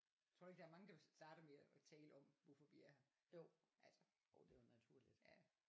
Tror du ikke der er mange der starter med at tale om hvorfor vi er her altså ja